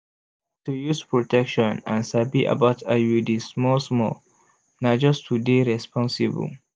to use protection and sabi about iuds small small na just to dey responsible.